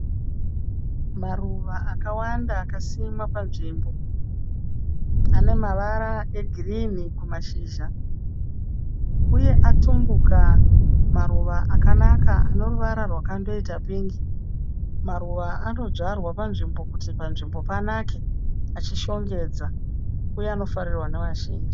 Maruva akawanda akasimwa panzvimbo. Anemavara egirini kumashizha uye atumbuka maruva akanaka aneruvara rwakandoita pingi. Maruva anodzvarwa panzvimbo kuti panzvimbo paneke uye achishongedza uye anofarirwa nevanhu vazhinji.